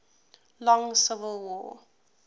long civil war